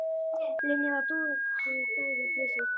Linja var dúðuð bæði í peysu og úlpu.